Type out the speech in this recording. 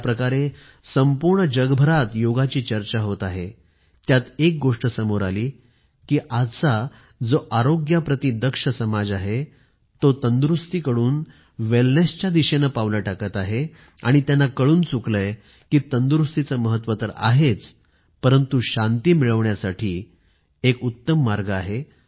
ज्याप्रकारे संपूर्ण जगभरात योगाची चर्चा होत आहे त्यात एक गोष्ट समोर आली कि आजचा जो आरोग्याप्रती दक्ष समाज आहे तो तंदुरुस्तीकडून वेलनेसच्या दिशेने पावलं टाकत आहे आणि त्यांना कळून चुकलं आहे कि तंदुरुस्तीचे महत्व तर आहेच परंतु शांती मिळवण्यासाठी योग एक उत्तम मार्ग आहे